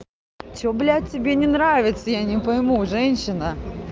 всё блядь тебе не нравится я не пойму женщина